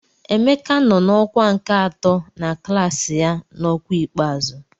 Emeka nọ na ọkwa nke atọ na klaasị ya n'ọkwa ikpeazụ.